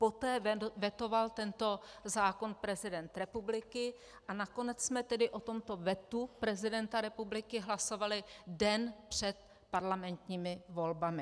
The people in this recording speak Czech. Poté vetoval tento zákon prezident republiky a nakonec jsme tedy o tomto vetu prezidenta republiky hlasovali den před parlamentními volbami.